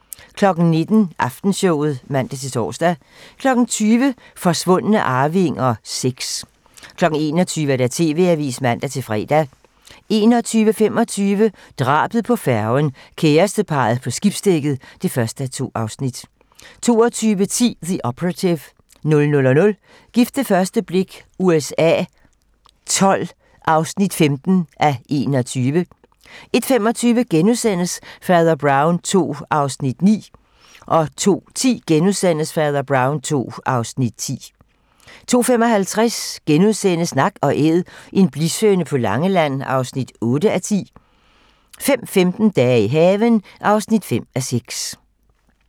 19:00: Aftenshowet (man-tor) 20:00: Forsvundne arvinger VI 21:00: TV-Avisen (man-fre) 21:25: Drabet på færgen - kæresteparret på skibsdækket (1:2) 22:10: The Operative 00:00: Gift ved første blik USA XII (15:21) 01:25: Fader Brown II (Afs. 9)* 02:10: Fader Brown II (Afs. 10)* 02:55: Nak & Æd - en blishøne på Langeland (8:10)* 05:15: Dage i haven (5:6)